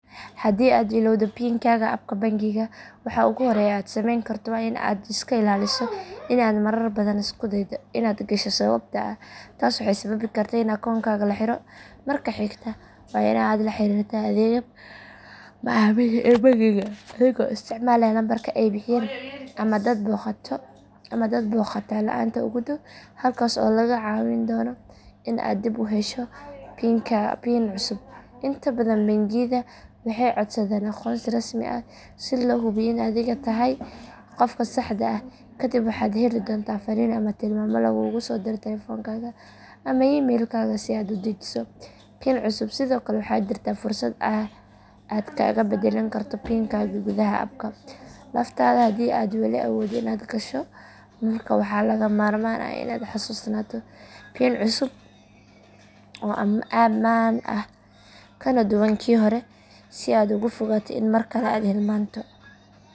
Haddii aad ilowdo pin kaaga appka bangiga waxa ugu horreeya ee aad sameyn karto waa in aad iska ilaaliso in aad marar badan isku daydo inaad gasho sababtoo ah taas waxay sababi kartaa in akoonkaaga la xiro marka xigta waa in aad la xiriirtaa adeegga macaamiisha ee bangigaaga adigoo isticmaalaya lambarka ay bixiyeen ama aad booqataa laanta ugu dhow halkaas oo lagaa caawin doono in aad dib u hesho pin cusub inta badan bangiyada waxay codsadaan aqoonsi rasmi ah si loo hubiyo in adiga tahay qofka saxda ah kadib waxaad heli doontaa fariin ama tilmaamo laguugu soo diro taleefankaaga ama emaylkaaga si aad u dejiso pin cusub sidoo kale waxaa jirta fursad aad kaga bedelan karto pin kaaga gudaha appka laftaada hadii aad wali awooddo inaad gasho markaas waxaa lagama maarmaan ah in aad xasuusnaato pin cusub oo ammaan ah kana duwan kii hore si aad uga fogaato in mar kale aad hilmaanto.